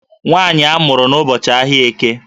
Nwaanyị a mụrụ n'ụbọchị ahịa Eke